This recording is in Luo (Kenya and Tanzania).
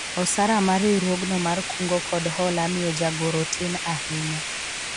osara ma riwruogno mar kungo kod hola miyo jagoro tin ahinya